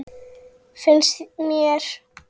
Finnst mér.